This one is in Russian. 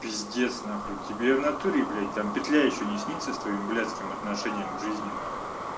пиздец на хуй тебе в натуре блять там петля ещё не снится с твоим блятским отношениям к жизни на хуй